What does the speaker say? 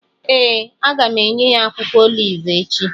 Ee, a ga m enye ya akwụkwọ olivu echi